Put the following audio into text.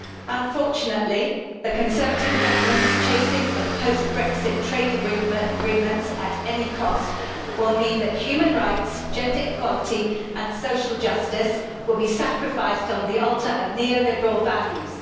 Unfortunately, the Conservative Government's chasing of post Brexit trade agreements at any cost will mean that human rights, gender equality and social justice will be sacrificed on the altar of neo liberal values.